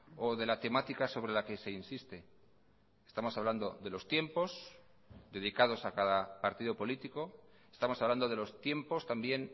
o de la temática sobre la que se insiste estamos hablando de los tiempos dedicados a cada partido político estamos hablando de los tiempos también